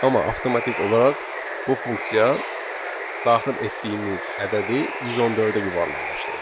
Amma avtomatik olaraq bu funksiya daxil etdiyimiz ədədi 114-ə yuvarlaqlaşdırdı.